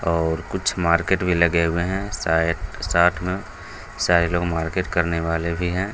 और कुछ मार्किट में लगे हुए हैं शायद साथ में सारे लोग मार्किट करने वाले भी हैं |